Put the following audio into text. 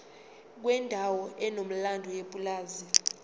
kwendawo enomlando yepulazi